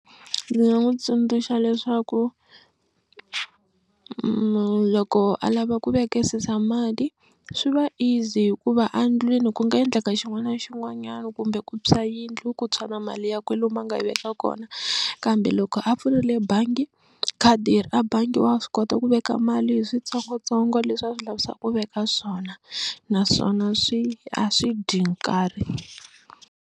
Ndzi nga n'wi tsundzuxa leswaku loko a lava ku vekisisa mali swi va easy hikuva a ndlwini ku nga endleka xin'wana na xin'wanyana kumbe ku tshwa yindlu ku tshwa na mali ya kwalomu a nga yi veka kona kambe loko a pfurile bangi khadi ra a bangi wa swi kota ku veka mali hi swintsongontsongo leswi a swi lavisaka ku veka swona naswona swi a swi dyi nkarhi.